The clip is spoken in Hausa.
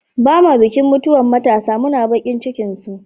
Ba'ma bikin mutuwan matasa, muna bakin cikin su.